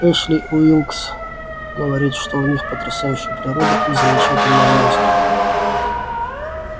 эшли уилкс говорит что у них потрясающая природа и замечательная музыка